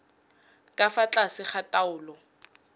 ka fa tlase ga taolo